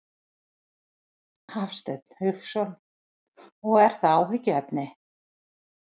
Hafsteinn Hauksson: Og er það áhyggjuefni?